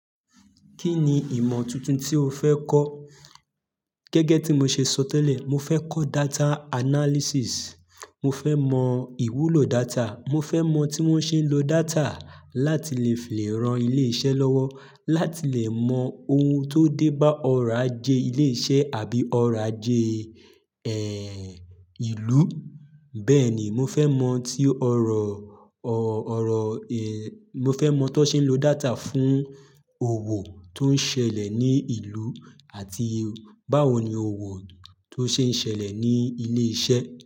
Kí ni ìmọ̀ tuntun tí o fẹ́ kọ́? Gẹ́gẹ́ tí mo ṣe sọ tẹ́lẹ̀, mo fẹ́ kọ́ data analysis. Mo fẹ́ mọ ìwúlò data. Mo fẹ́ mọ tí wọ́n ṣe ń lo data láti lè fìràn ilé iṣẹ́ lọ́wọ́, láti lè mọ ohun tó dé bá ọrọ̀ ajé ilé iṣẹ́ àbí ọrọ̀ ajé, ẹ́, ìlú. Bẹ́ẹ̀ni, mo fẹ́ mọ n tí ọrọ̀, ọ̀, ọrọ̀, ẹ́, mo fẹ́ mọ tọ́n ṣe ń lo data fún òwò tó ń ṣẹlẹ̀ ní ìlú àti báwo ni òwò tó ṣe ń ṣẹlẹ̀ ní ilé iṣẹ́.